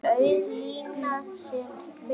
Auð lína sem fyrr.